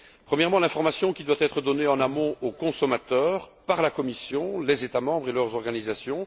Premièrement, l'information qui doit être donnée en amont aux consommateurs par la Commission, les États membres et leurs organisations.